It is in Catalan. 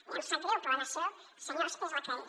ja em sap greu però la nació senyors és la que és